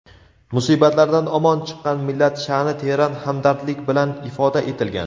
musibatlardan omon chiqqan millat shaʼni teran hamdardlik bilan ifoda etilgan.